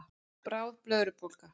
Bráð blöðrubólga